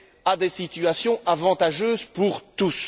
à des situations avantageuses pour tous.